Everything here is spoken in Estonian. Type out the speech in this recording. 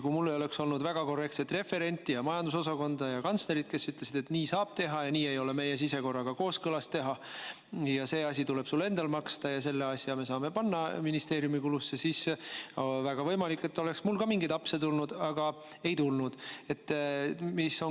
Kui mul ei oleks olnud väga korrektset referenti, majandusosakonda ja kantslerit, kes ütlesid, et nii saab teha ja nii ei ole meie sisekorraga kooskõlas teha, see asi tuleb sul endal maksta ja selle asja me saame panna ministeeriumi kuludesse, siis väga võimalik, et ka mul oleks mingeid apse sisse tulnud, aga ei tulnud.